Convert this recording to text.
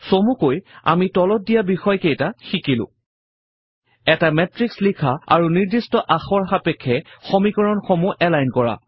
চমুকৈ আমি তলত দিয়া বিষয় কেইটা শিকিলো এটা মেত্ৰিক্স লিখা আৰু নিৰ্দিষ্ট আখৰ সাপেক্ষে সমীকৰণসমূহক এলাইন কৰা